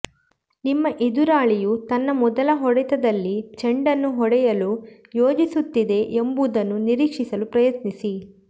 ನಿಮ್ಮ ಎದುರಾಳಿಯು ತನ್ನ ಮೊದಲ ಹೊಡೆತದಲ್ಲಿ ಚೆಂಡನ್ನು ಹೊಡೆಯಲು ಯೋಜಿಸುತ್ತಿದೆ ಎಂಬುದನ್ನು ನಿರೀಕ್ಷಿಸಲು ಪ್ರಯತ್ನಿಸಿ